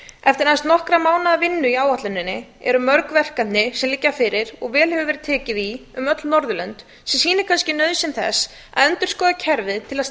eftir aðeins nokkurra mánaða vinnu í áætluninni eru mörg verkefni sem liggja fyrir og vel hefur verið tekið í um öll norðurlönd sem sýnir kannski nauðsyn þess að endurskoða kerfið til að